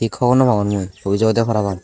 kobor nw pangor mui obis obodey paraang.